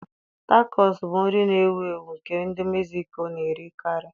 Takọs bụ nri na-ewu ewu nke ndị Mexico na-erikarị.